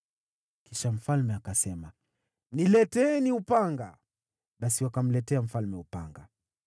Kisha mfalme akasema, “Nileteeni upanga.” Basi wakamletea mfalme upanga.